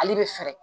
Ale bɛ fɛɛrɛ